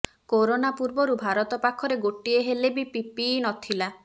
corona ପୂର୍ବରୁ ଭାରତ ପାଖରେ ଗୋଟିଏ ହେଲେ ବି ପିପିଇ ନଥିଲା